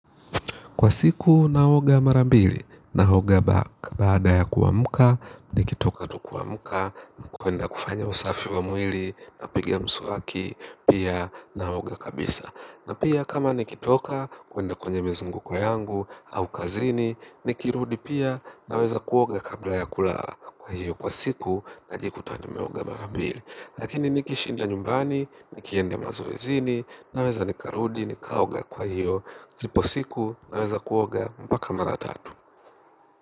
Kwa siku naoga mara mbili naoga baada ya kuamka nikitoka tu kuamka ni kuenda kufanya usafi wa mwili napigaa mswaki pia naoga kabisa. Na pia kama nikitoka kuenda kwenye mizunguko yangu au kazini nikirudi pia naweza kuoga kabla ya kulala kwa hiyo kwa siku najikututa nimeoga mara mbili. Lakini nikishinda nyumbani, nikienda mazoezini, naweza nikarudi, nikaoga kwa hiyo. Zipo siku, naweza kuoga, mpaka mara tatu.